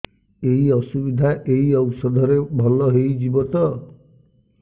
ଏଇ ଅସୁବିଧା ଏଇ ଔଷଧ ରେ ଭଲ ହେଇଯିବ ତ